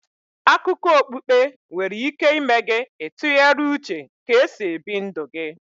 Akụkọ okpukpe nwere ike ịme gị ị tụgharịa uche ka e si ebi ndụ gi